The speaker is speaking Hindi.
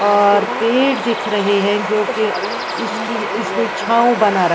और पेड़ दिख रहे है जो उसकी इसने छाव बना र--